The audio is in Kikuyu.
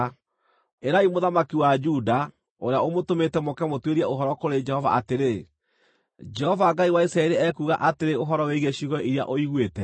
Ĩrai mũthamaki wa Juda, ũrĩa ũmũtũmĩte mũũke mũtuĩrie ũhoro kũrĩ Jehova atĩrĩ, ‘Jehova Ngai wa Isiraeli ekuuga atĩrĩ ũhoro wĩgiĩ ciugo iria ũiguĩte: